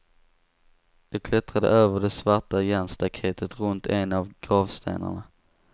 Jag klättrade över det svarta järnstaketet runt en av gravstenarna.